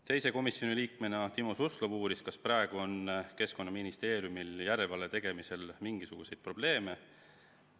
Teine komisjoni liige, Timo Suslov uuris, kas praegu on Keskkonnaministeeriumil järelevalve tegemisel mingisuguseid probleeme.